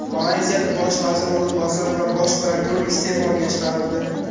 Malayziyada bosh vazir o‘rinbosari va bosh prokuror iste’foga chiqarildi.